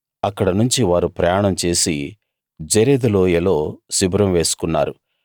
అక్కడనుంచి వారు ప్రయాణం చేసి జెరెదు లోయలో శిబిరం వేసుకున్నారు